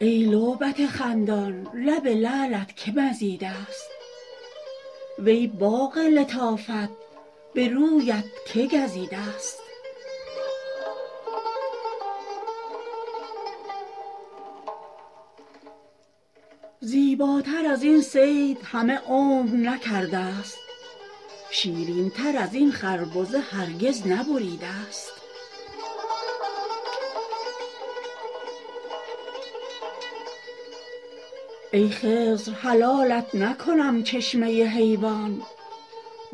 ای لعبت خندان لب لعلت که مزیده ست وی باغ لطافت به رویت که گزیده ست زیباتر از این صید همه عمر نکرده ست شیرین تر از این خربزه هرگز نبریده ست ای خضر حلالت نکنم چشمه حیوان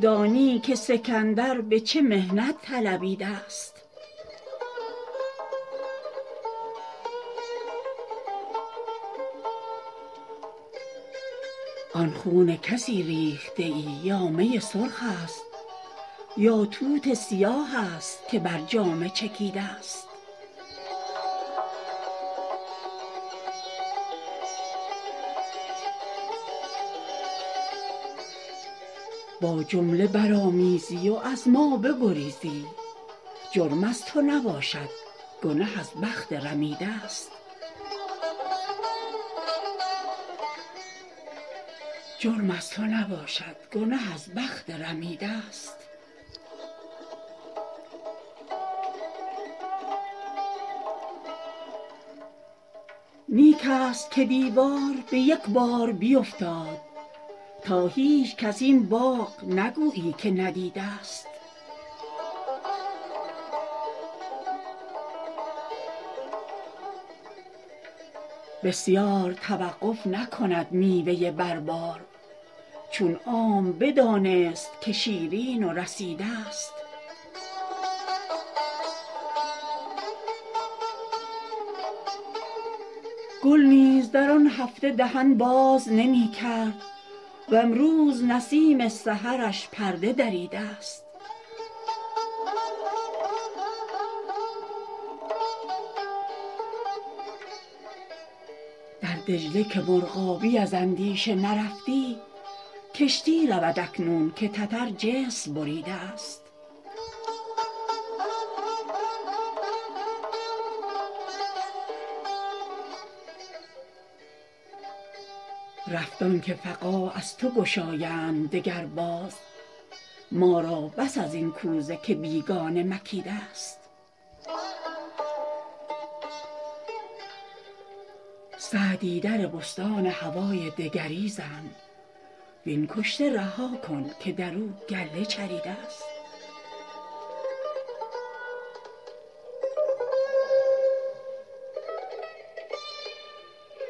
دانی که سکندر به چه محنت طلبیده ست آن خون کسی ریخته ای یا می سرخ است یا توت سیاه است که بر جامه چکیده ست با جمله برآمیزی و از ما بگریزی جرم از تو نباشد گنه از بخت رمیده ست نیک است که دیوار به یک بار بیفتاد تا هیچکس این باغ نگویی که ندیده ست بسیار توقف نکند میوه بر بار چون عام بدانست که شیرین و رسیده ست گل نیز در آن هفته دهن باز نمی کرد وامروز نسیم سحرش پرده دریده ست در دجله که مرغابی از اندیشه نرفتی کشتی رود اکنون که تتر جسر بریده ست رفت آن که فقاع از تو گشایند دگر بار ما را بس از این کوزه که بیگانه مکیده ست سعدی در بستان هوای دگری زن وین کشته رها کن که در او گله چریده ست